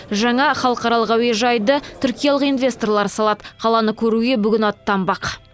жаңа халықаралық әуежайды түркиялық инвесторлар салады қаланы көруге бүгін аттанбақ